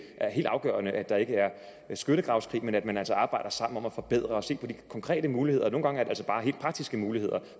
er helt afgørende at der ikke er skyttegravskrig men at man altså arbejder sammen om at forbedre det og se på de konkrete muligheder og nogle gange er det altså bare helt praktiske muligheder